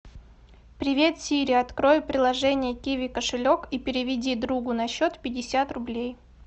привет сири открой приложение киви кошелек и переведи другу на счет пятьдесят рублей